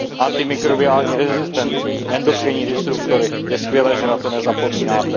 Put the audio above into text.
Antimikrobiální rezistenci, endokrinní disruptory, je skvělé, že na to nezapomínáte.